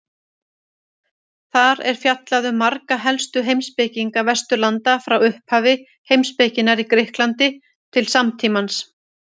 Þar er fjallað um marga helstu heimspekinga Vesturlanda frá upphafi heimspekinnar í Grikklandi til samtímans.